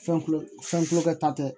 Fɛn kulo fɛn kulo kɛ ta tɛ